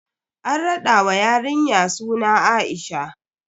An raɗa wa yarinya suna A'isha.